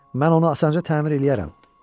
Mən onu asanca təmir eləyərəm.